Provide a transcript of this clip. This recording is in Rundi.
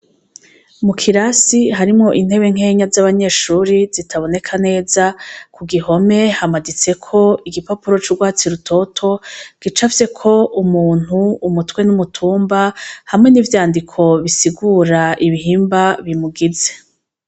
Mu kirasi harimwo intebe nkenya z'abanyeshure zitaboneka neza, kugihome hamaditseko igipapuro c'urwatsi rutoto gicafyeko umuntu, umutwe n'umutumba hamwe n'ivyandiko bisigura ibihimba bimugize.